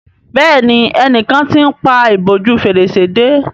Béèni enìkan t'in pá ìbòjú Fèrèsé dé.